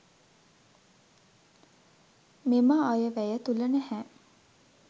මෙම අයවැය තුළ නැහැ.